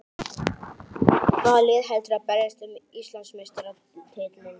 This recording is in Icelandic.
Hvaða lið heldurðu að berjist um Íslandsmeistaratitilinn?